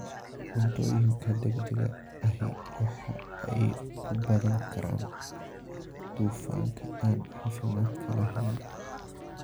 Cuntooyinka degdega ahi waxa ay ku badan karaan dufanka aan caafimaadka lahayn.